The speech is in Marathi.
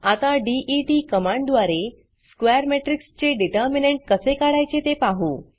आता देत कमांडद्वारे स्क्वेअर मॅट्रिक्स चे डिटर्मिनंट कसे काढायचे ते पाहू